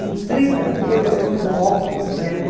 Em trinta dias eu fiz o álbum completo.